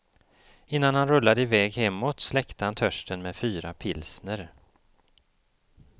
Innan han rullade i väg hemåt släckte han törsten med fyra pilsner.